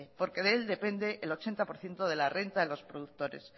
porque de él depende el ochenta por ciento de la renta de los productores